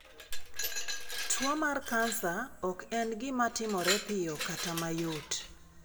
Tuwo mar kansa ok en gima timore piyo kata mayot.